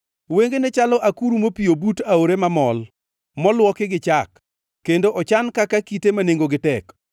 Wengene chalo akuru mopiyo but aore mamol, moluoki gi chak, kendo ochan kaka kite ma nengogi tek.